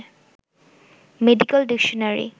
medical dictionary